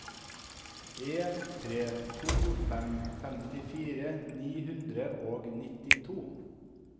en tre to fem femtifire ni hundre og nittito